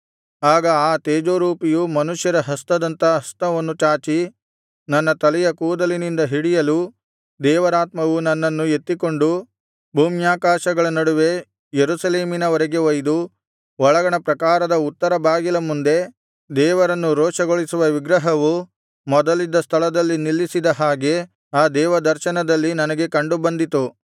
ಆಗ ಆ ತೇಜೋರೂಪಿಯು ಮನುಷ್ಯ ಹಸ್ತದಂಥ ಹಸ್ತವನ್ನು ಚಾಚಿ ನನ್ನ ತಲೆಯ ಕೂದಲಿನಿಂದ ಹಿಡಿಯಲು ದೇವರಾತ್ಮವು ನನ್ನನ್ನು ಎತ್ತಿಕೊಂಡು ಭೂಮ್ಯಾಕಾಶಗಳ ನಡುವೆ ಯೆರೂಸಲೇಮಿನವರೆಗೆ ಒಯ್ದು ಒಳಗಣ ಪ್ರಾಕಾರದ ಉತ್ತರ ಬಾಗಿಲ ಮುಂದೆ ದೇವರನ್ನು ರೋಷಗೊಳಿಸುವ ವಿಗ್ರಹವು ಮೊದಲಿದ್ದ ಸ್ಥಳದಲ್ಲಿ ನಿಲ್ಲಿಸಿದ ಹಾಗೆ ಆ ದೇವದರ್ಶನದಲ್ಲಿ ನನಗೆ ಕಂಡು ಬಂದಿತು